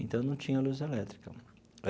Então, não tinha luz elétrica.